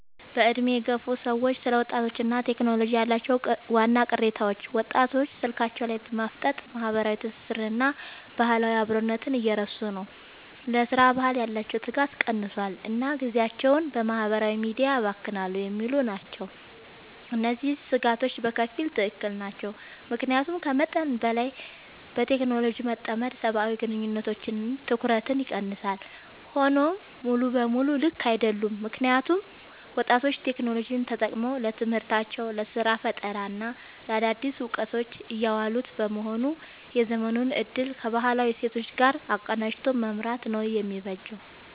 በዕድሜ የገፉ ሰዎች ስለ ወጣቶችና ቴክኖሎጂ ያላቸው ዋና ቅሬታዎች፦ ወጣቶች ስልካቸው ላይ በማፍጠጥ ማህበራዊ ትስስርንና ባህላዊ አብሮነትን እየረሱ ነው: ለሥራ ባህል ያላቸው ትጋት ቀንሷል: እና ጊዜያቸውን በማህበራዊ ሚዲያ ያባክናሉ የሚሉ ናቸው። እነዚህ ስጋቶች በከፊል ትክክል ናቸው። ምክንያቱም ከመጠን በላይ በቴክኖሎጂ መጠመድ ሰብአዊ ግንኙነቶችንና ትኩረትን ይቀንሳል። ሆኖም ሙሉ በሙሉ ልክ አይደሉም: ምክንያቱም ወጣቶች ቴክኖሎጂን ተጠቅመው ለትምህርታቸው: ለስራ ፈጠራና ለአዳዲስ እውቀቶች እያዋሉት በመሆኑ የዘመኑን እድል ከባህላዊ እሴቶች ጋር አቀናጅቶ መምራት ነው የሚበጀው።